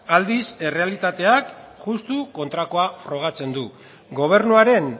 aldiz errealitateak justu kontrakoa frogatzen du gobernuaren